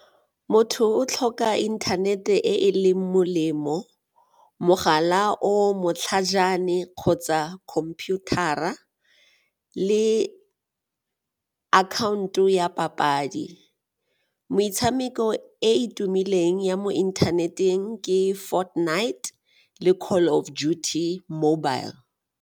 Motho o tlhoka inthanete e e leng molemo, mogala o matlhajana kgotsa computer-ra le akhaonto ya papadi. Metshameko e e tumileng ya mo inthaneteng ke Fortnite le Call of Duty mobile.